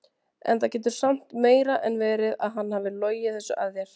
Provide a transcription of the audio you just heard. En það getur samt meira en verið að hann hafi logið þessu að þér.